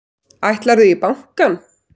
Ætlarðu í bankann?